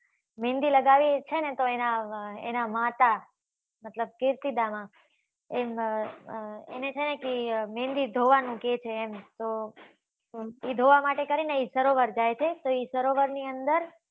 મહેંદી લગાવી છે. ને તો એના માતા મતલબ કીર્તિદા માં એએને છે. ને મહેંદી ધોવા નું કહે છે. એમ તો એ ધોવા માટે કરી ને એ સરોવર જાય છે. તો એ સરોવર ની અંદર